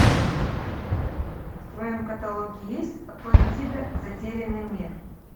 в твоем каталоге есть атлантида затерянный мир